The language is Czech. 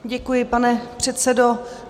Děkuji, pane předsedo.